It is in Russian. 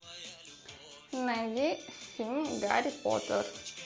найди фильм гарри поттер